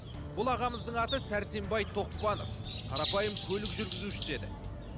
бұл ағамыздың аты сәрсенбай тоқпанов қарапайым көлік жүргізушісі еді